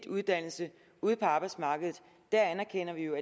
uddannelse ude på arbejdsmarkedet anerkender vi jo